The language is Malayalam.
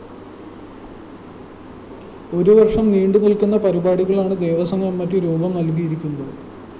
ഒരു വര്‍ഷം നീണ്ടുനില്‍ക്കു പരിപാടികളാണ് ദേവസ്വം കമ്മിറ്റി രൂപം നല്‍കിയിരിക്കുന്നത്